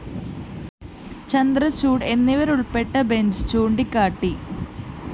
ചന്ദ്രചൂഡ് എന്നിവരുള്‍പ്പെട്ട ബെഞ്ച്‌ ചൂണ്ടിക്കാട്ടി